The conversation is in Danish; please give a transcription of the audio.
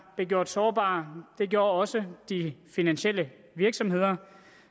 gjort sårbare det gjorde også de finansielle virksomheder